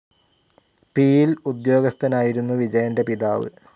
പിയിൽ ഉദ്യോഗസ്ഥനായിരുന്നു വിജയന്റെ പിതാവ്.